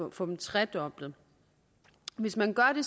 at få dem tredoblet hvis man gør det